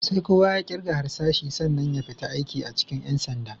Sai kowa ya ƙirga harsashi sannan ya fita aiki a cikin ƴan sanda.